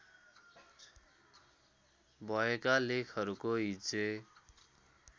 भएका लेखहरूको हिज्जे